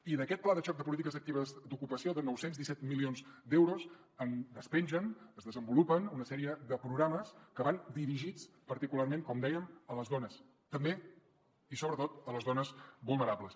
i d’aquest pla de xoc de polítiques actives d’ocupació de nou cents i disset milions d’euros en despengen es desenvolupen una sèrie de programes que van dirigits particularment com dèiem a les dones també i sobretot a les dones vulnerables